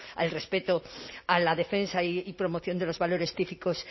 al respeto a la defensa y promoción de los valores típicos